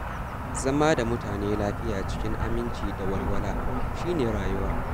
Zama da mutane lafiya cikin aminci da walwala, shi ne rayuwa.